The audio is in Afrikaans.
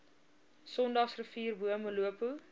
sondagsrivier bo molopo